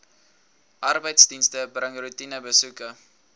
arbeidsdienste bring roetinebesoeke